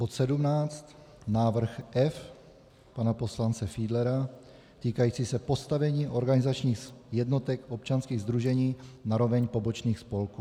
Bod 17 - návrh F pana poslance Fiedlera týkající se postavení organizačních jednotek občanských sdružení na roveň pobočných spolků.